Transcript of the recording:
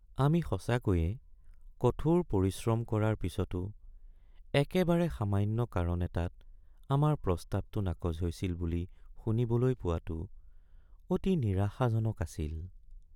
আমি সঁচাকৈয়ে কঠোৰ পৰিশ্ৰম কৰাৰ পিছতো একেবাৰে সামান্য কাৰণ এটাত আমাৰ প্ৰস্তাৱটো নাকচ হৈছিল বুলি শুনিবলৈ পোৱাটো অতি নিৰাশাজনক আছিল।